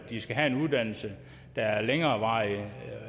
de skal have en uddannelse der er af længere varighed